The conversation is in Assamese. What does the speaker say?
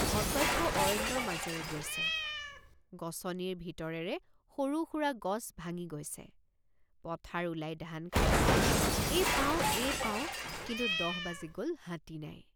অটব্য অৰণ্যৰ মাজেৰে গৈছে গছনিৰ ভিতৰেৰে সৰুসুৰা গছ ভাঙি গৈছে পথাৰ ওলাই ধান খাইছে এই পাওঁ এই পাওঁ কিন্তু দহ বাজি গ'ল হাতী নাই।